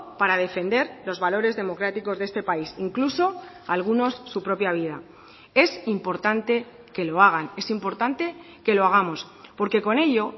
para defender los valores democráticos de este país incluso algunos su propia vida es importante que lo hagan es importante que lo hagamos porque con ello